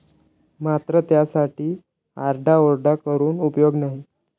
मात्र त्यासाठी आरडाओरडा करून उपयोग नाही.